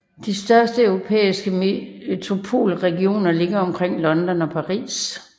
De største europæiske metropolregioner ligger omkring London og Paris